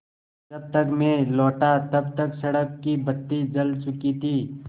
जब तक मैं लौटा तब तक सड़क की बत्ती जल चुकी थी